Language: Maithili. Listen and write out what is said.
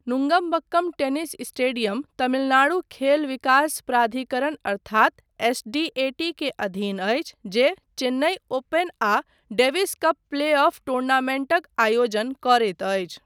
नुंगमबक्कम टेनिस स्टेडियम तमिलनाडु खेल विकास प्राधिकरण अर्थात एसडीएटी के अधीन अछि जे चेन्नई ओपन आ डेविस कप प्ले ऑफ टूर्नामेंटक आयोजन करैत अछि।